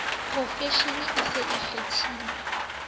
profeshene e se e kgathile